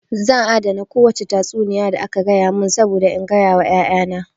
Zan adana kowace tatsuniya da aka gaya mun saboda in gaya wa ƴaƴa na